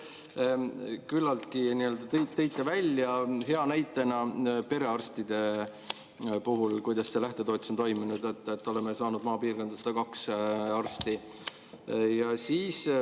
Küllaltki hea näitena selle kohta, kuidas see lähtetoetus on toiminud, te tõite perearstide puhul välja, et oleme saanud maapiirkonda 102 arsti.